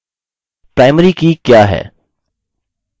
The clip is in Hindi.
primary की क्या है